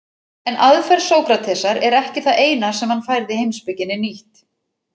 En aðferð Sókratesar er ekki það eina sem hann færði heimspekinni nýtt.